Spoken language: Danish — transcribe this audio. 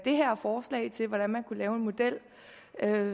her forslag til hvordan man kunne lave en model